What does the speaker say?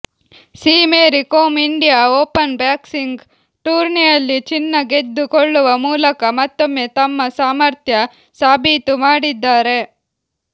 C Mary Kom India Open boxing ಟೂರ್ನಿಯಲ್ಲಿ ಚಿನ್ನ ಗೆದ್ದುಕೊಳ್ಳುವ ಮೂಲಕ ಮತ್ತೊಮ್ಮೆ ತಮ್ಮ ಸಾಮರ್ಥ್ಯ ಸಾಬೀತು ಮಾಡಿದ್ದಾರೆ